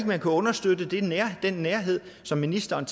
man ikke understøtte den nærhed som ministeren